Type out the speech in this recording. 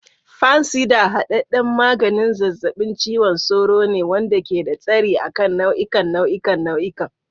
Fansidar hadadden maganin zazzabin cizon sauro ne wanda ke da tasiri a kan nau'ikan nau'ikan nau'ikan.